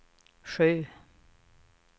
sju